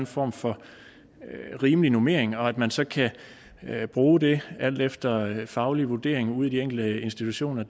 form for rimelig normering og at man så kan bruge det alt efter den faglige vurdering ude i de enkelte institutioner